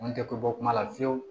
N tɛ ko bɔ kuma la fiyewu